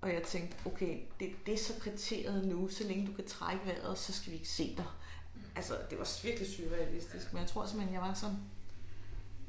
Og jeg tænkte okay det det så kriteriet nu så længe du kan trække vejret så skal vi ikke se dig altså det var virkelig surrealistisk men jeg tror simpelthen jeg var så